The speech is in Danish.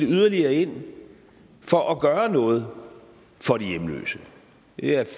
yderligere ind for at gøre noget for de hjemløse det er jo